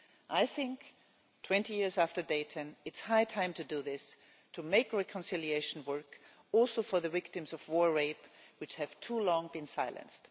I think that 20 years after Dayton it is high time to do this to make reconciliation work also for the victims of war rape who have for too long been silenced.